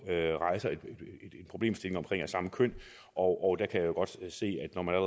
rejser en problemstilling omkring samme køn og der kan jeg jo godt se